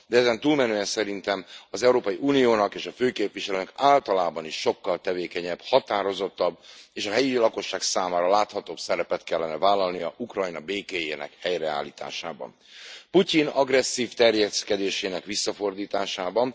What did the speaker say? De ezen túlmenően szerintem az Európai Uniónak és a főképviselőnek általában is sokkal tevékenyebb, határozottabb és a helyi lakosság számára láthatóbb szerepet kellene vállalnia Ukrajna békéjének helyreállításában, Putyin agresszív terjeszkedésének visszafordításában.